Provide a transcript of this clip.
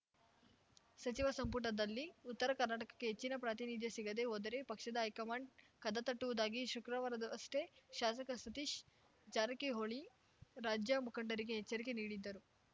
ಸಚಿವ ಸಂಪುಟದಲ್ಲಿ ಉತ್ತರ ಕರ್ನಾಟಕಕ್ಕೆ ಹೆಚ್ಚಿನ ಪ್ರಾತಿನಿಧ್ಯ ಸಿಗದೇ ಹೋದರೆ ಪಕ್ಷದ ಹೈಕಮಾಂಡ್‌ ಕದ ತಟ್ಟುವುದಾಗಿ ಶುಕ್ರವಾರವಷ್ಟೇ ಶಾಸಕ ಸತೀಶ್‌ ಜಾರಕಿಹೊಳಿ ರಾಜ್ಯ ಮುಖಂಡರಿಗೆ ಎಚ್ಚರಿಕೆ ನೀಡಿದ್ದರು